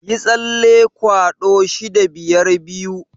Yi tsalle kwado 652.